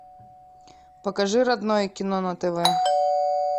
покажи родное кино на тв